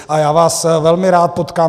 A já vás velmi rád potkám.